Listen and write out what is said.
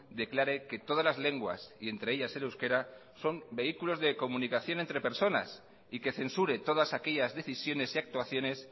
declare que todas las lenguas y entre ellas el euskera son vehículos de comunicación entre personas y que censure todas aquellas decisiones y actuaciones